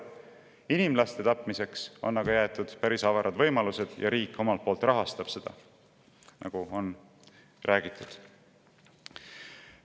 Inimlaste tapmiseks on aga jäetud päris avarad võimalused ja riik rahastab seda omalt poolt, nagu juba räägitud.